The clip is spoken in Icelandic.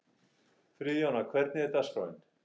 Friðjóna, hvernig er dagskráin?